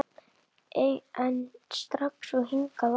En strax og hingað að